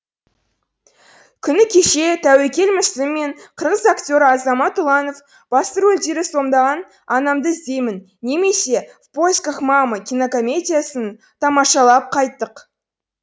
күні кеше тәуекел мүсілім мен қырғыз актері азамат ұланов басты рөлдерді сомдаған анамды іздеймін немесе в поисках мамы кинокомедиясын тамашалап қайттық